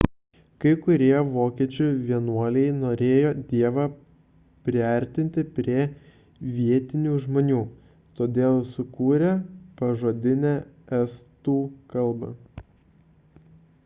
kai kurie vokiečių vienuoliai norėjo dievą priartinti prie vietinių žmonių todėl sukūrė pažodinę estų kalbą